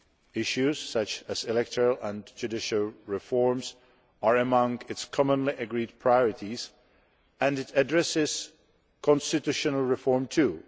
Issues such as electoral and judicial reforms are among its commonly agreed priorities, and it addresses constitutional reform too.